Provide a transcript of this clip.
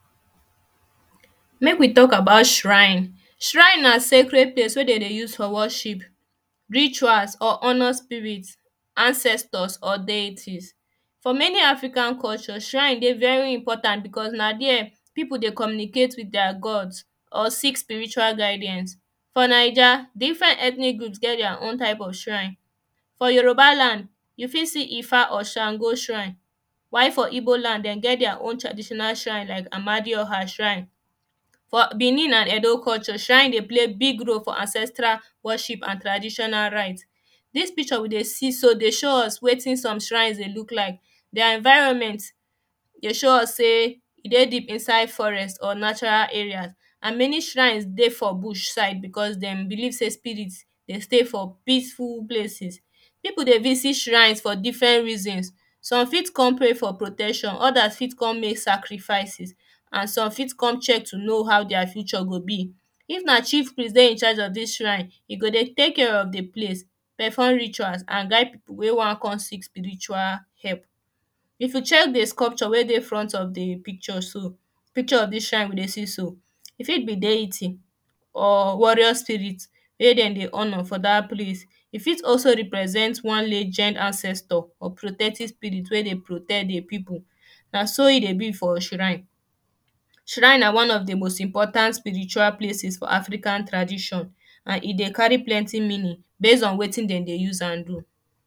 Make we talk about shrine Shrine na sacred place wey dem dey use for worship, rituals or honour spirit ancestors or deity for many African culture shrine dey very important because na there people dey communicate with their god or seek spiritual guidance for naija different ethnic groups get their own type of shrine for Yoruba land you fit see ifa or sango shrine while for Igbo land dem get their own traditional shrine like amadioha shrine for Benin and edo culture shrine dey play big role for ancestral worship and traditional rites. This picture we dey see so dey show us wetin some shrines dey look like Their environment dey show us say e dey deep inside forest or natural area and many shrines dey for Bush side because dem believe say spirit dey stay for peaceful places. People dey visit shrine for different reasons, some fit come pay for protection others fit come make sacrifices and some fit come check to know how their future go be If na chief priest dey in charge of this shrine e go dey take care of the place perform rituals and guide people wey wan come seek spiritual help. If you check the sculpture weydey front of the picture so picture of this shrine you dey see so e fit be deity or warrior spirit wey dem dey honour for that place e fit also represents one legend ancestor or protective spirit weydey protect the people na so e dey be for shrine Shrine na one of the most important spiritual places for African tradition and e dey carry plenty meaning base on wetin dem dey use am do